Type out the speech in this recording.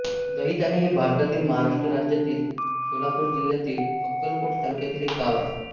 दहिताणे हे भारतातील महाराष्ट्र राज्यातील सोलापूर जिल्ह्यातील अक्कलकोट तालुक्यातील एक गाव आहे